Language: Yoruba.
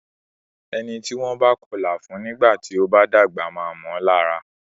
Ẹni tí wọ́n bá kọlà fún nígbà tí o bá dàgbà máa mọ lára.